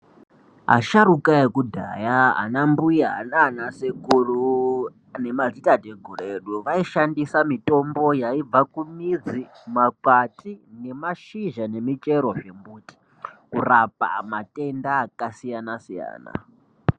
Asharuka ekudhaya ana mbuya naana sekuru nemadzitateguru edu vaishandisa mitombo yaibva kumizi kumakwati nemashizha nemichero dzembuti kurapa matenda akasiyana siyana.